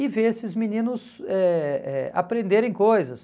E ver esses meninos eh eh aprenderem coisas.